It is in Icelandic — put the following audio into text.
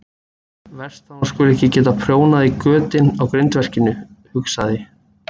Verst að hún skuli ekki geta prjónað í götin á grindverkinu, hugsaði